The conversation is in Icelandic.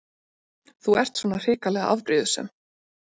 Þú ert svona hrikalega afbrýðisöm!